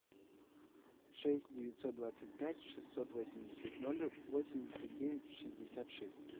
шесть девятьсот двадцать пять шестьсот восемьдесят ноль восемьдесят девять шестьдесят шесть